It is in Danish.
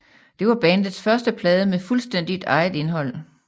Det var bandets første plade med fuldstændigt eget indhold